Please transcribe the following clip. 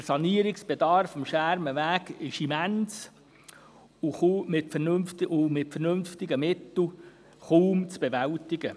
Der Sanierungsbedarf am Schermenweg ist immens und mit vernünftigen Mitteln kaum zu bewältigen.